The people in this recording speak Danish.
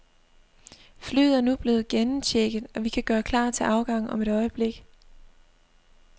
Flyet er nu blevet gennemchecket, og vi kan gøre klar til afgang om et øjeblik.